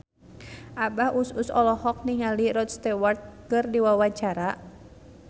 Abah Us Us olohok ningali Rod Stewart keur diwawancara